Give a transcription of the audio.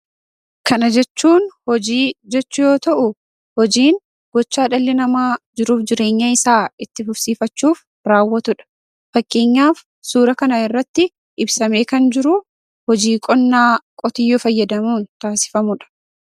Kana jechuun hojii jechuu yoo ta'u, hojiin gochaa dhalli namaa jiruu fi jireenya isaa itti fufsiifachuuf raawwatu dha. Fakkeenyaaf, suuraa kana irratti ibsamee kan jiru hojii qonnaa qotiyyoo fayyadamuun taasifamu dha.